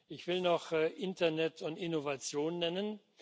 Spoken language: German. Ich will noch Internet und Innovation nennen.